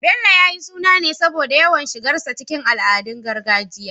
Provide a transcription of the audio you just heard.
Bello, ya yi suna ne saboda yawan shigarsa cikin al'adun gargajiya